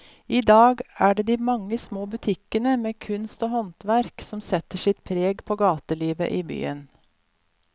I dag er det de mange små butikkene med kunst og håndverk som setter sitt preg på gatelivet i byen.